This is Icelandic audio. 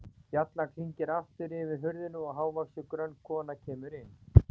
Bjallan klingir aftur yfir hurðinni og hávaxin, grönn kona kemur inn.